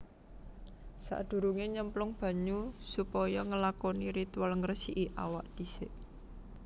Sakdurungé nyemplung banyu supaya nglakoni ritual ngresiki awak disik